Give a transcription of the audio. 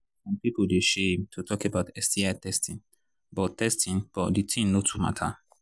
some people still they shame to talk about sti testing but testing but the thing no too matter